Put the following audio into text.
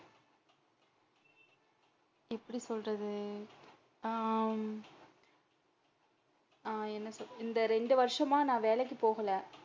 எப்படி சொல்றது ஹம் ஹம் என்ன சொல்றது இந்த ரெண்டு வருஷம் நான் வேலைக்கு போகல,